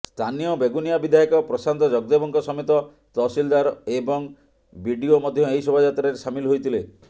ସ୍ଥାନୀୟ ବେଗୁନିଆ ବିଧାୟକ ପ୍ରଶାନ୍ତ ଜଗଦ୍ଦେବଙ୍କ ସମେତ ତହସିଲଦାର ଏବଂ ବିଡ଼ିଓ ମଧ୍ୟ ଏହି ଶୋଭାଯାତ୍ରାରେ ସାମିଲ ହୋଇଥିଲେ